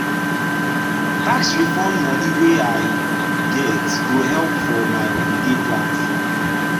tax refund money wey i get go help for my holiday plans.